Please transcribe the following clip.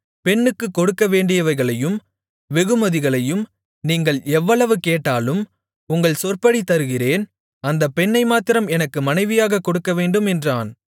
பெண்ணுக்குக் கொடுக்கவேண்டியவைகளையும் வெகுமதிகளையும் நீங்கள் எவ்வளவு கேட்டாலும் உங்கள் சொற்படி தருகிறேன் அந்தப் பெண்ணை மாத்திரம் எனக்கு மனைவியாகக் கொடுக்கவேண்டும் என்றான்